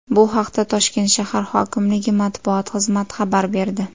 Bu haqda Toshkent shahar hokimligi matbuot xizmati xabar berdi .